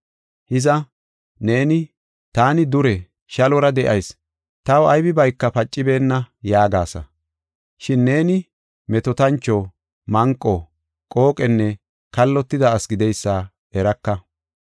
Hiza, neeni, ‘Taani dure, shallora de7ayis, taw aybibayka pacibeenna’ yaagasa. Shin neeni metootancho, manqo, qooqenne kallotida asi gideysa eraka.